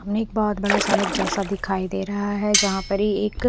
निक बोहोत बड़ा सड़क जेसा दिखाई दे रहा है जहा परी एक--